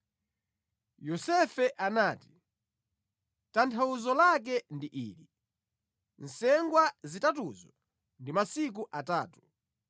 Yosefe anati, “Tanthauzo lake ndi ili: nsengwa zitatuzo ndi masiku atatu.